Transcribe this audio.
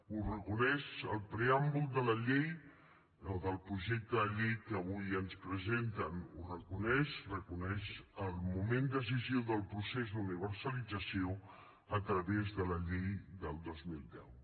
ho reconeix el preàmbul de la llei o del projecte de llei que avui ens presenten ho reconeix reconeix el moment decisiu del procés d’universalització a través de la llei del dos mil deu